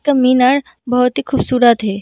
का मीनार बहुत ही खूबसूरत है।